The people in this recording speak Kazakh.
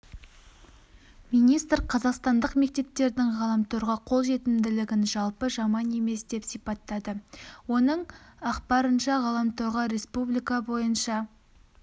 министр қазақстандық мектептердің ғаламторға қол жетімділігін жалпы жаман емес деп сипаттады оның ақпарынша ғаламторға республика бойынша